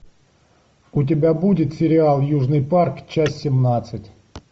у тебя будет сериал южный парк часть семнадцать